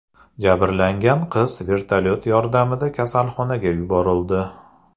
Jabrlangan qiz vertolyot yordamida kasalxonaga yuborildi.